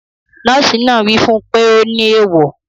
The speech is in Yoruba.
Nọ́ọ̀sì náà wí fún pé ọ ní ewọ